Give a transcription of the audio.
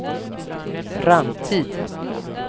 framtid